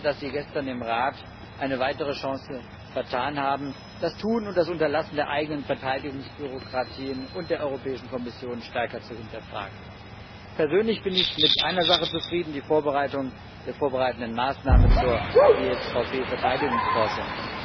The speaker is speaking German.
Schade, dass sie gestern im Rat eine weitere Chance vertan haben, das Tun und das Unterlassen der eigenen Verteidigungsbürokratien und der Kommission stärker zu hinterfragen. Persönlich bin ich mit einer Sache zufrieden, nämlich mit der vorbereitenden Maßnahme zur GSVP Verteidigungsforschung.